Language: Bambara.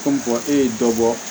Ko e ye dɔ bɔ